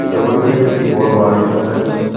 ছবিটিতে একটি বড়ো বাড়ি দেখা যাচ্ছে।